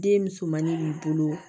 Den musomannin b'i bolo